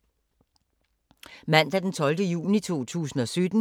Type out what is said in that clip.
Mandag d. 12. juni 2017